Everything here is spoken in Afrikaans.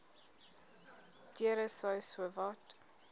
deure sou sowat